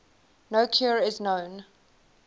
no cure is known